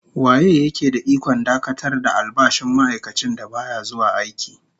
Waye ya ke da ikon dakatar da albashin ma'aikacin da baya zuwa aiki?